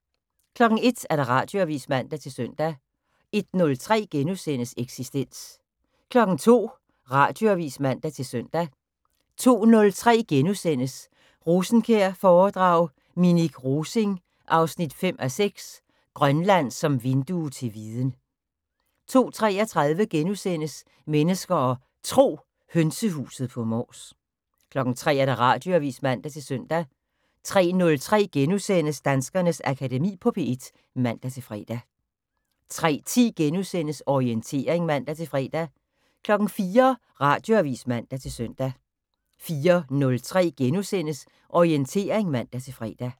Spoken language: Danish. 01:00: Radioavis (man-søn) 01:03: Eksistens * 02:00: Radioavis (man-søn) 02:03: Rosenkjær-foredrag: Minik Rosing 5:6 - Grønland som vindue til viden * 02:33: Mennesker og Tro: Hønsehuset på Mors * 03:00: Radioavis (man-søn) 03:03: Danskernes Akademi på P1 *(man-fre) 03:10: Orientering *(man-fre) 04:00: Radioavis (man-søn) 04:03: Orientering *(man-fre)